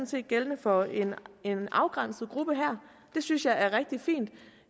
set gældende for en afgrænset gruppe her det synes jeg er rigtig fint